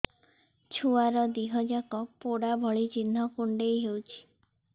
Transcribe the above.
ଛୁଆର ଦିହ ଯାକ ପୋଡା ଭଳି ଚି଼ହ୍ନ କୁଣ୍ଡେଇ ହଉଛି